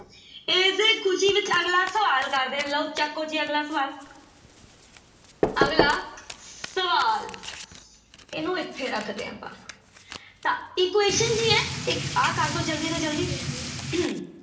ਇਸੇ ਖ਼ੁਸ਼ੀ ਵਿੱਚ ਅਗਲਾ ਸਵਾਲ ਕਰਦੇ ਹਾਂ ਲਓ ਚੱਕੋ ਜੀ ਅਗਲਾ ਸਵਾਲ ਅਗਲਾ ਸਵਾਲ ਇਹਨੂੰ ਇੱਥੇ ਰੱਖਦੇ ਹਾਂ ਆਪਾਂ ਤਾਂ equation ਕੀ ਹੈ ਇੱਕ ਆਹ ਕਰ ਦਓ ਜ਼ਲਦੀ ਤੋਂ ਜ਼ਲਦੀ